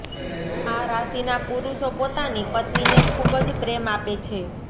આ રાશિના પુરુષો પોતાની પત્નીને ખૂબ જ પ્રેમ આપે છે